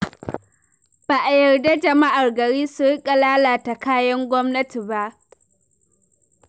Ba a yarda jama'ar gari su riƙa lalata kayan gwamnati ba.